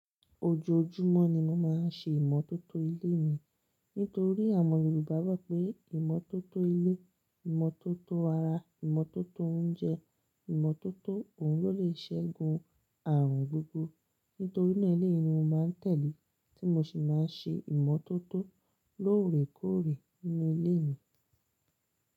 Ojoojúmọ́ ni mo máa ń ṣe ìmọ́tótó ilé mi. Nítorí àwọn Yorùbá gbà pé ìmọ́tótó ilé, ìmọ́tótó ara, ìmọ́tótó oúnjẹ, ìmọ́tótó òun ló le ṣẹ́gun àarùn gbogbo. Nítorí náà eleyii ni mo máa ń tẹ̀lé tí mo sì máa ń ṣe ìmọ́tótó lóòrèkóòrè nínú ilé mi.